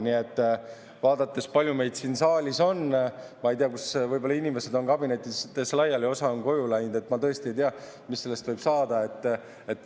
Nii et vaadates, kui palju meid siin saalis on, võib-olla inimesed on kabinettides laiali, osa on koju läinud, ma tõesti ei tea, mis sellest võib saada.